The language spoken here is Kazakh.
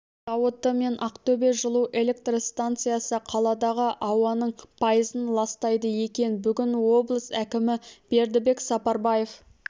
зауыты мен ақтөбе жылу-электр станциясы қаладағы ауаның пайызын ластайды екен бүгін облыс әкімі бердібек сапарбаев